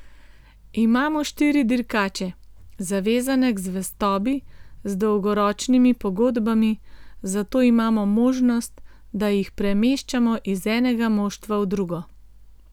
Imamo štiri dirkače, zavezane k zvestobi z dolgoročnimi pogodbami, zato imamo možnost, da jih premeščamo iz enega moštva v drugo.